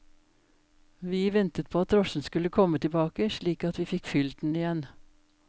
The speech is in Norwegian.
Vi ventet på at drosjen skulle komme tilbake slik at vi fikk fylt den igjen.